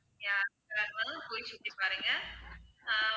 yeah போய் சுத்தி பாருங்க ஆஹ்